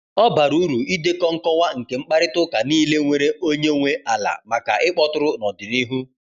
Ọ bara uru idekọ nkọwa nke mkparịta ụka niile nwere onye nwe ala maka ịkpọtụrụ n’ọdịnihu.